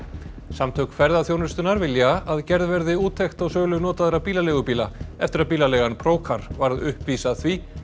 samtök ferðaþjónustunnar vilja að gerð verði úttekt á sölu notaðra bílaleigubíla eftir að bílaleigan varð uppvís að því